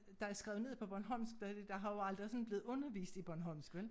Der er skrevet ned på bornholmsk der har jo aldrig sådan blevet undervist i bornholmsk vel